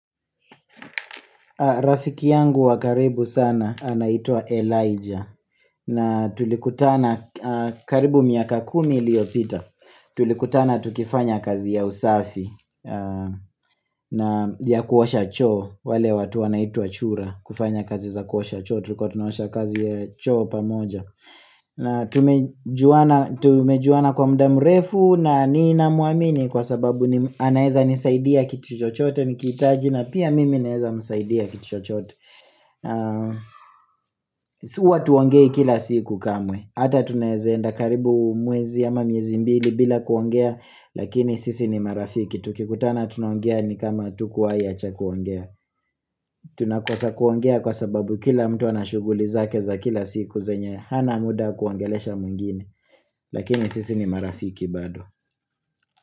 Rafiki yangu wa karibu sana anaitwa Elijah na tulikutana karibu miaka kumi iliyopita tulikutana tukifanya kazi ya usafi na ya kuosha choo wale watu wanaitwa chura kufanya kazi za kuosha choo tulikuwa tunaosha kazi ya choo pamoja na tumejuana kwa muda mrefu na ninamwamini kwa sababu anaeza nisaidia kitu chochote nikihitaji na pia mimi naeza msaidia kitu chochote Huwa hatuongei kila siku kamwe Hata tunaeze enda karibu mwezi ama miezi mbili bila kuongea lakini sisi ni marafiki Tukikutana tunaongea ni kama hatukuwahi acha kuongea Tunakosa kuongea kwa sababu kila mtu ana shuguli zake za kila siku zenye hana muda wa kuongelesha mwengine Lakini sisi ni marafiki bado.